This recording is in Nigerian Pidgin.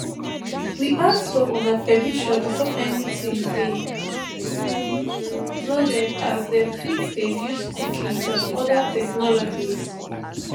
we ask for una permission before anytin dey um loaded as dem fit dey use cookies and oda technologies